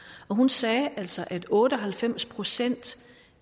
og hun sagde altså at otte og halvfems procent